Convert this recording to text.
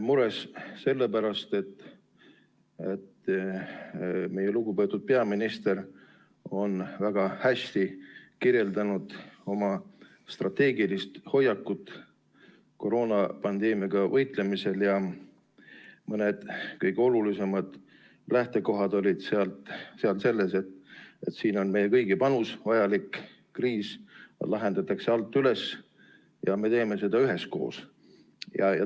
Mures sellepärast, et meie lugupeetud peaminister on väga hästi kirjeldanud oma strateegilist hoiakut koroonapandeemiaga võitlemisel ning mõni tema kõige olulisem lähtekoht oli selline, et siin on meie kõigi panus vajalik, kriisi lahendatakse alt üles ja me teeme seda üheskoos.